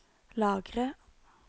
lagre